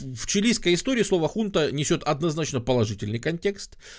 в чилийской истории слово хунта несёт однозначно положительный контекст